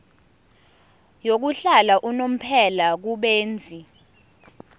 yokuhlala unomphela kubenzi